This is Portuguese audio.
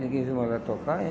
Ninguém viu mais ela tocar, hein?